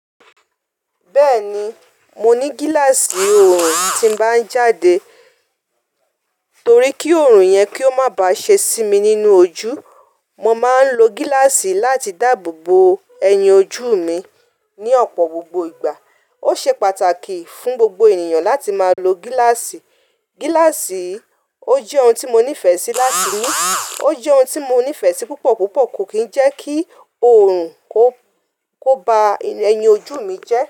Bẹ́ẹ̀ni, mo ní gíláàsì oòrùn tí ń bá ń jáde. Torí kí oòrùn yẹn kí ó má bá ṣe sí mi nínú ojú. Mo má ń lo gíláàsì láti dáàbò bo ẹyin ojú mi ní ọ̀pọ̀ gbogbo ìgbà. Ó ṣe pàtàkì fún gbogbo ènìyàn láti má lo gíláàsì. Gíláàsì ó jẹ́ ohun tí mo nífẹ̀ẹ́ sí láti mú, ó jẹ́ ohun tí mo nífẹ̀ẹ́ sí púpọ̀ púpọ̀. Kò kì ń jẹ́ kí oòrùn kó, kó ba ẹyin ojú mi jẹ́